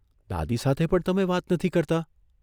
દાદી સાથે પણ તમે વાત નથી કરતા?